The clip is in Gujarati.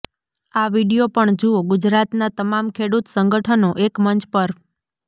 આ વીડિયો પણ જુઓઃ ગુજરાતના તમામ ખેડૂત સંગઠનો એકમંચ પર